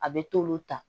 A bɛ t'olu ta